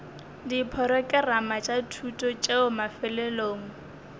diporokerama tša thuto tšeo mafelelong